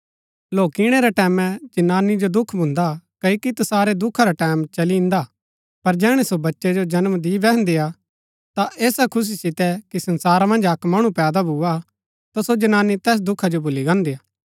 लौकिणै रै टैमैं जनानी जो दुख भून्दा क्ओकि तैसारै दुखा रा टैमं चली ईन्दा पर जैहणै सो बच्चै जो जन्म दि बैहन्दी हा ता ऐसा खुशी सितै कि संसारा मन्ज अक्क मणु पैदा भूआ ता सो जनानी तैस दुखा जो भुली गान्दी हा